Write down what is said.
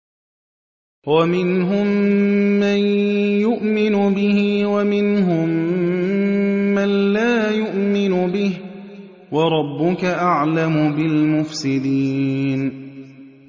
وَمِنْهُم مَّن يُؤْمِنُ بِهِ وَمِنْهُم مَّن لَّا يُؤْمِنُ بِهِ ۚ وَرَبُّكَ أَعْلَمُ بِالْمُفْسِدِينَ